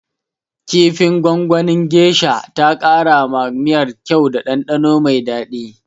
Kifin gwangwanin geisha ta kara ma miyar kyau da ɗanɗano mai daɗi.